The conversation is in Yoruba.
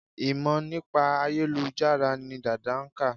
Ìmọ̀ nípa ayélujára ni Dàda nkà